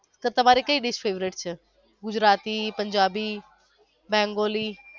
તો તમારે કઈ dish favourite છે ગુજરાતી પંજાબી બંગોલી.